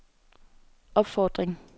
opfordring